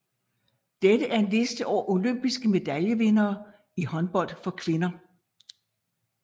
Dette er en liste over olympiske medaljevindere i håndbold for kvinder